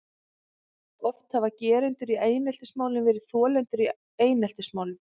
Oft hafa gerendur í eineltismálum verið þolendur í eineltismálum.